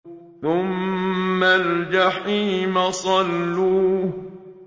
ثُمَّ الْجَحِيمَ صَلُّوهُ